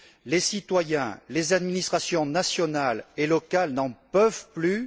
Les citoyens, les administrations nationales et locales n'en peuvent plus.